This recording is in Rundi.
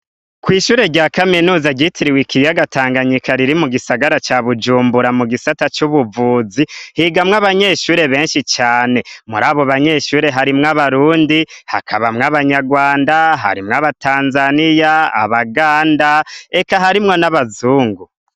Kw'ishuri rya kaminuza ryitiriwe ikiyaga tanganyika riri mugisagara ca bujumbura mugisata c'ubuvuzi higa mw'abanyeshure beshi cane. Mur'abo banyeshure harimwo abarundi, hakabamwo abanyarwanda, harimwo abatanzaniya, abaganda eka harimwo n'abazungu.